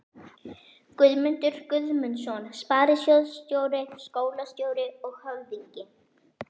Guðmundur Guðmundsson sparisjóðsstjóri, skólastjóri og höfðingi